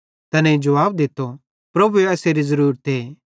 तैनेईं जुवाब दित्तो प्रभुए एसेरी ज़रुरते